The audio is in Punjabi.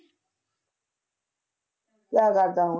ਕਿਆ ਕਰਦਾ ਉਹ?